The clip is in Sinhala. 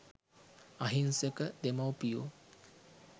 අහිංසක දෙමව්පියෝ